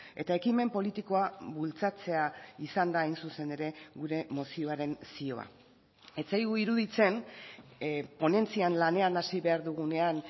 eta ekimen politikoa bultzatzea izan da hain zuzen ere gure mozioaren zioa ez zaigu iruditzen ponentzian lanean hasi behar dugunean